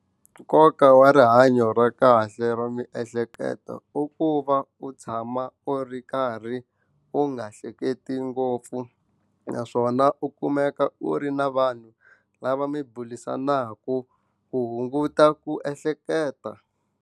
Nkoka wa rihanyo ra kahle ra miehleketo i ku va u tshama u ri karhi u nga hleketi ngopfu naswona u kumeka u ri na vanhu lava mi burisanaka ku hunguta ku ehleketa.